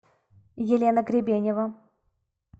елена гребенева